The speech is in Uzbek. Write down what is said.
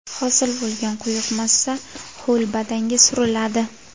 Hosil bo‘lgan quyuq massa ho‘l badanga suriladi.